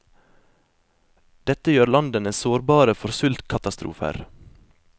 Dette gjør landene sårbare for sultkatastrofer.